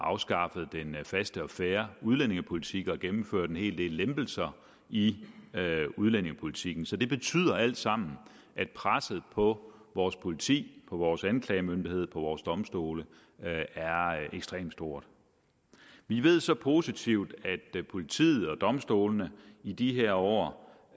afskaffet den faste og fair udlændingepolitik og gennemført en hel del lempelser i udlændingepolitikken så det betyder alt sammen at presset på vores politi på vores anklagemyndighed og på vores domstole er ekstremt stort vi ved så positivt at politiet og domstolene i de her år